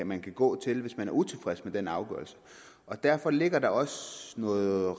man kan gå til hvis man er utilfreds med en afgørelse og derfor ligger der også noget